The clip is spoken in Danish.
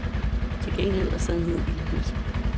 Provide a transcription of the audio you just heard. Til gengæld er sandheden ilde hørt.